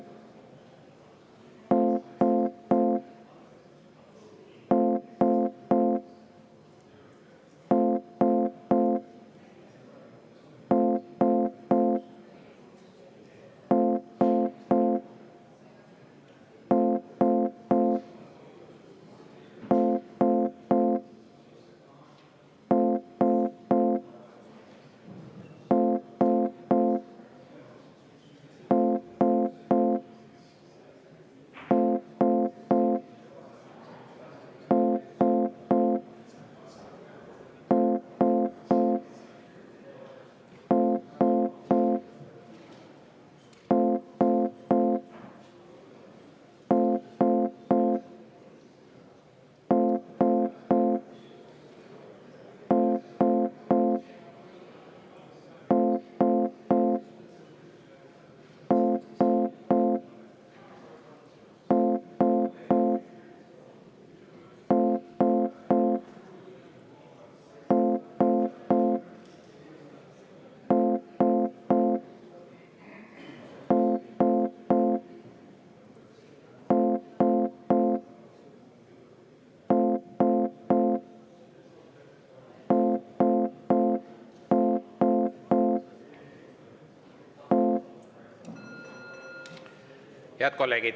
Head kolleegid!